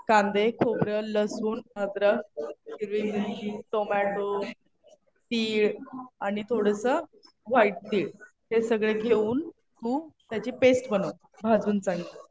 कांदे, खोबरं, लसूण, अद्रक, हिरवी मिरची, टोमॅटो, तीळ आणि थोडंसं व्हाईट तीळ हे सगळं घेऊ तू त्याची पेस्ट बनव. भाजून चांगलं.